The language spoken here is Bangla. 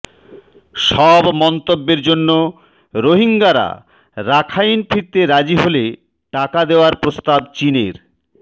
সব মন্তব্যের জন্য রোহিঙ্গারা রাখাইন ফিরতে রাজি হলে টাকা দেওয়ার প্রস্তাব চীনের